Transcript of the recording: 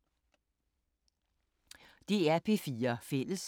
DR P4 Fælles